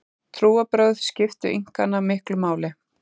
Trúarbrögð skiptu Inkana miklu máli.